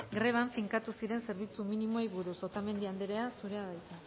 greban finkatu ziren zerbitzu minimoei buruz otamendi anderea zurea da hitza